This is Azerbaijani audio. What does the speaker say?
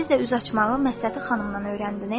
Siz də üz açmağı məsəti xanımdan öyrəndiniz?